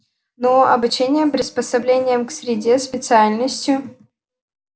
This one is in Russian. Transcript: ну обучением приспособлением к среде специальностью